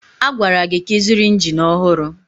A gwara gị ka ịzụrụ injin ọhụrụ!